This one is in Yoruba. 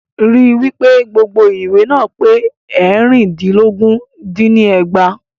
Rí wípé gbogbo ìwé náà pé eérìndínlógún dín ní ẹgbàá.